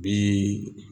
Bi